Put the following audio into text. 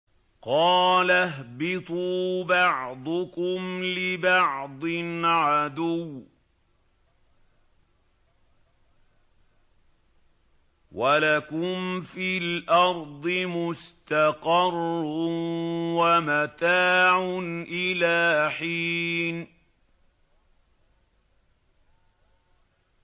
قَالَ اهْبِطُوا بَعْضُكُمْ لِبَعْضٍ عَدُوٌّ ۖ وَلَكُمْ فِي الْأَرْضِ مُسْتَقَرٌّ وَمَتَاعٌ إِلَىٰ حِينٍ